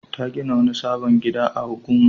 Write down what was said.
Ta gina wani sabon gida a Huguma.